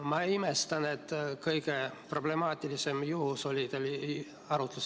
Ma imestan, et kõige problemaatilisema juhuna oli arutluse all Juhan Smuul.